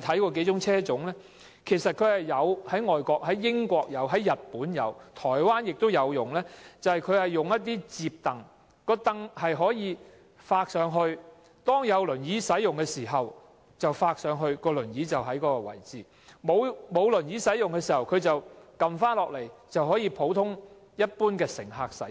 我們知道，英國、日本和台灣使用數個車種，車上安裝一些摺櫈，有輪椅人士使用時，摺櫈可以向上摺，以便放置輪椅；沒有輪椅人士使用時，摺櫈可以放下來，讓普通乘客使